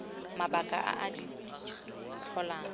mabaka a a di tlholang